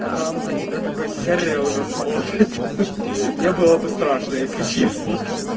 а там на тебя такой сережа смотрит мне было бы страшно если честно